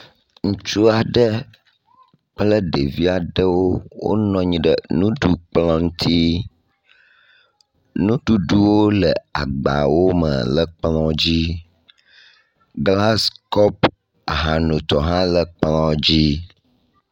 Ŋutsu aɖe kple ɖevi aɖewo wonɔ anyi ɖe nuɖukplɔ ŋutsi. Nuɖuɖwo le agba wo me le nuɖukplɔ dzi. Glasi kɔpu ahanotɔ hã le kplɔ dzi.